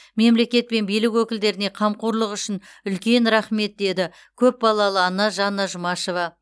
мемлекет пен билік өкілдеріне қамқорлығы үшін үлкен рахмет деді көпбалалы ана жанна жұмашева